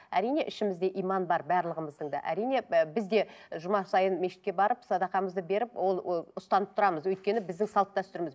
әрине ішімізде иман бар барлығымыздың да әрине біз де і жұма сайын мешітке барып садақамызды беріп ол ы ұстанып тұрамыз өйткені біздің салт дәстүріміз